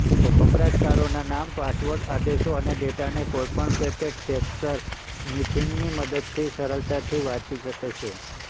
વપરાશકારોના નામ પાસવર્ડ આદેશો અને ડેટાને કોઈપણ પેકેટ કેપ્ચરસ્નીફિંગની મદદથી સરળતાથી વાંચી શકે છે